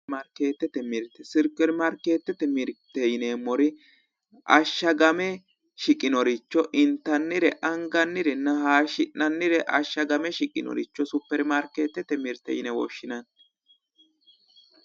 supiri maarikeetete mirte yimeemmori ashagame shiqinoricho intannirenna angannire hayisgi'nannire ashagame shiqinnoricho supiri maarikeetete mirite yine woshshinanni